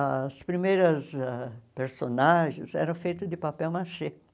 As primeiras ah personagens eram feitas de papel machê.